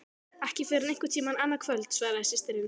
Ekki fyrr en einhvern tíma annað kvöld, svaraði systirin.